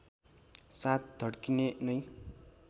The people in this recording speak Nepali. साथ धड्किने नै